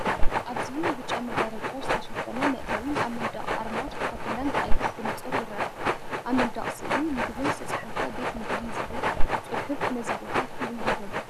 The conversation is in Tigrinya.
ኣብዚ ብጫ መጋረጃ ዝተሸፈነ መእተዊን ኣብ መንደቕ ኣርማ ኮካ ኮላን ብቐይሕ ብንጹር ይርአ። ኣብ መንደቕ ስእሊ መግቢን ዝተጻሕፈ "ቤት ምግቢ" ዝብል ጽሑፍን ነዚ ቦታ ፍሉይ ይገብሮ።